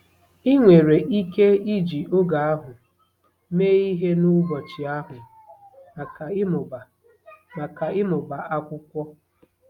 Ị nwere ike iji oge ahụ mee ihe n'ụbọchị ahụ maka ịmụba maka ịmụba akwụkwọ.